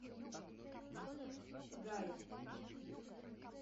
гая